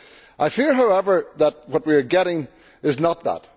I fear, however, that what we are getting is not that.